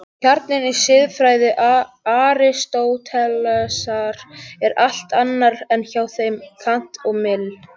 Kjarninn í siðfræði Aristótelesar er allt annar en hjá þeim Kant og Mill.